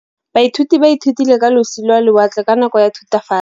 Baithuti ba ithutile ka losi lwa lewatle ka nako ya Thutafatshe.